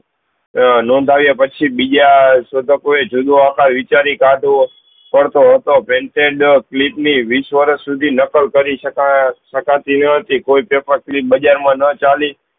આ નોન્ધાવિયા પછી બીજા શોધકો એ વિચારી કાતો પડતો હતો કલીપ ની વીસ વર્ષ સુધ નકલ કરી સકાય સકતી ન હતી કોઈ કલીપ બજાર માં ન ચાલી